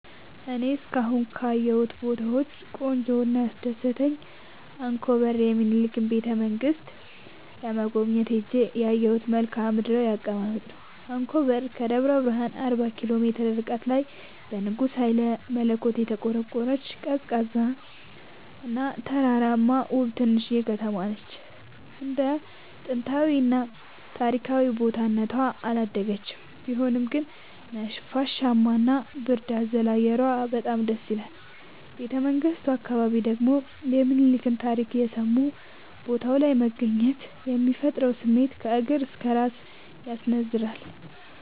እኔ እስካሁን ካየሁት ቦታወች ቆንጆው እና ያስደሰተኝ አንኮበር የሚኒልክን ቤተ-መንግስት ለመጎብኘት ሄጄ ያየሁት መልከአ ምድራዊ አቀማመጥ ነው። አንኮበር ከደብረ ብረሃን አርባ ኪሎ ሜትር ርቀት ላይ በንጉስ ሀይለመለኮት የተቆረቆረች፤ ቀዝቃዛ እና ተራራማ ውብ ትንሽዬ ከተማነች እንደ ጥንታዊ እና ታሪካዊ ቦታ እነቷ አላደገችም ቢሆንም ግን ነፋሻማ እና ብርድ አዘል አየሯ በጣም ደስይላል። ቤተመንግቱ አካባቢ ደግሞ የሚኒልክን ታሪክ እየሰሙ ቦታው ላይ መገኘት የሚፈጥረው ስሜት ከእግር እስከ እራስ ያስነዝራል።